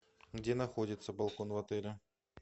где находится балкон в отеле